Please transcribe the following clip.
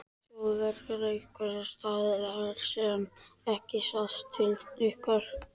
Þjóðverja einhvers staðar þar sem ekki sást til ykkar?